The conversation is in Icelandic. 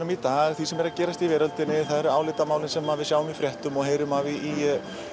í dag því sem er að gerast í veröldinni það eru álitamálin sem við sjáum í fréttum og heyrum af í